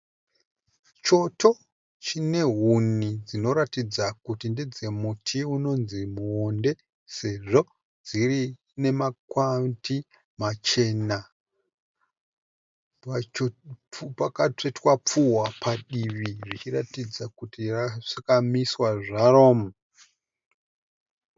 Choto chine huni dzinoratidza kuti ndedzemuti inonzi Muonde sezvo dziine makwati machena. Pachoto pakatsvetwa pfuhwa padiwi richiratidza kuti rakamiswa zvaro.